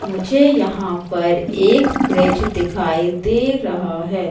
मुझे यहाँ पर एक फ्रिज दिखाई दे रहा है।